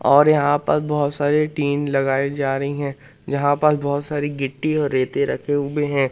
और यहां पर बहुत सारे टीन लगाई जा रही हैं जहां पर बहुत सारी गिट्टी और रेते रखे हुए हैं।